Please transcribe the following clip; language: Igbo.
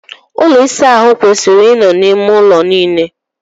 Ụlọ ịsa ahụ kwesịrị i nọ n'ime ụlọ niile.